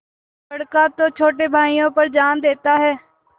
बड़का तो छोटे भाइयों पर जान देता हैं